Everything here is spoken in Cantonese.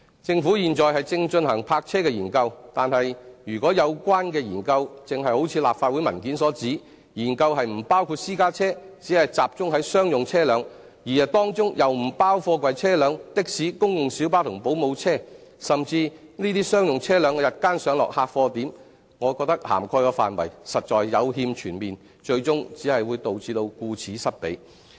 政府現正進行泊車的研究，但如果有關的研究正如立法會的文件所指，研究不包括私家車，只集中在商用車輛，而當中又不包括貨櫃車輛、的士、公共小巴及保姆車，甚至該等商用車輛的日間上落客貨點，我認為涵蓋的範圍實在有欠全面，最終只會導致顧此失彼。